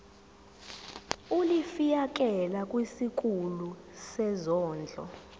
ulifiakela kwisikulu sezondlo